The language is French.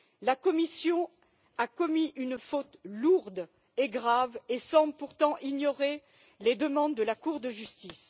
La Commission a commis une faute lourde et grave et semble pourtant ignorer les demandes de la Cour de justice.